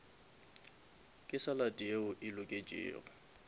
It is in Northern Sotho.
ke salad yeo e loketšego